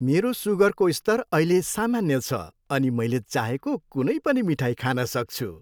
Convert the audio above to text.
मेरो सुगरको स्तर अहिले सामान्य छ अनि मैले चाहेको कुनै पनि मिठाई खान सक्छु।